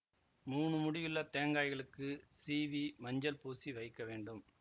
மூனு முடியுள்ள தேங்காய்களுக்குச் சீவி மஞ்சள் பூசி வைக்க வேண்டும்